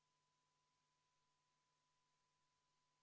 Ettepanekut toetab 5 rahvasaadikut, vastuolijaid on 56 ja erapooletuid ei ole.